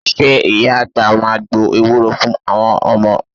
Ṣé Ìyá àgbà máa gbo ewúro fún àwọn ọmọ?